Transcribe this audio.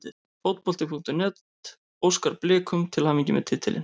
Fótbolti.net óskar Blikum til hamingju með titilinn.